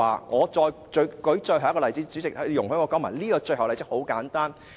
我再舉最後一個例子，主席，請你容許我提出這個很簡單的例子。